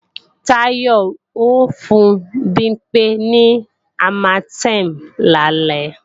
Táyọ ó fún Bimpé ní Armatem lálẹ́